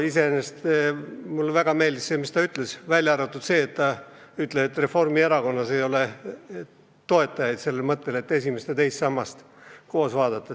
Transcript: Iseenesest mulle väga meeldis, mis Tiina Kangro rääkis, välja arvatud see, et tema väitel Reformierakonnas ei ole toetajaid mõttele, et esimest ja teist sammast tuleks koos vaadata.